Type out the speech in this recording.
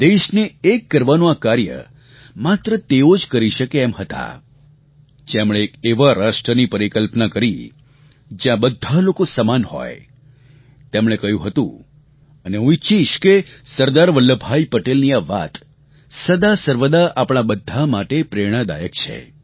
દેશને એક કરવાનું આ કાર્ય માત્ર તેઓ જ કરી શકે એમ હતા જેમણે એક એવા રાષ્ટ્રની પરિકલ્પના કરી જ્યાં બધા લોકો સમાન હોય તેમણે કહ્યું હતું અને હું ઈચ્છીશ કે સરદાર વલ્લભભાઈ પટેલની આ વાત સદાસર્વદા આપણા બધા માટે પ્રેરણાદાયક છે